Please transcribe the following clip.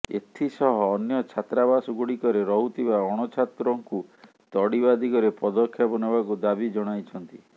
ଏଥିସହ ଅନ୍ୟ ଛାତ୍ରାବାସଗୁଡ଼ିକରେ ରହୁଥିବା ଅଣଛାତ୍ରଙ୍କୁ ତଡ଼ିବା ଦିଗରେ ପଦକ୍ଷେପ ନେବାକୁ ଦାବି ଜଣାଇଛନ୍ତି